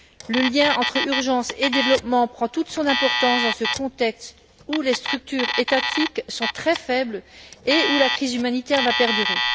Le lien entre urgence et développement prend toute son importance dans ce contexte où les structures étatiques sont très faibles et où la crise humanitaire va perdurer.